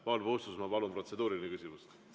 Paul Puustusmaa, palun, protseduuriline küsimus!